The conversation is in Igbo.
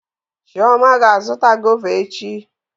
Chioma ga-azụta gọva echi.